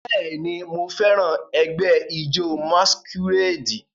Bẹẹni, Mo fẹran ẹgbẹ ijó masquerade